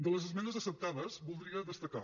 de les esmenes acceptades en voldria destacar